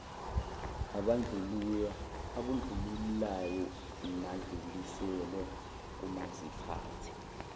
abandlululayo nadluliselwe komaziphathe